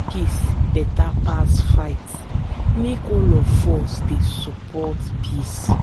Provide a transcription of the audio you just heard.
peace beta pass fight make all of us dey support peace.